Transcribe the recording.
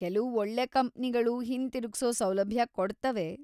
ಕೆಲ್ವು ಒಳ್ಳೆ ಕಂಪ್ನಿಗಳು‌ ಹಿಂತಿರುಗ್ಸೋ ಸೌಲಭ್ಯ ಕೊಡ್ತವೆ.